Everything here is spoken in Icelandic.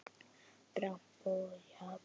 Dramb er jafnan þessu næst.